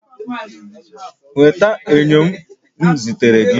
Nweta enyo m zitere gị